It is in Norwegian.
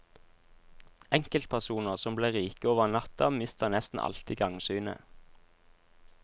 Enkeltpersoner som blir rike over natta mister nesten alltid gangsynet.